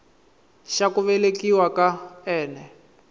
xa ku velekiwa ka n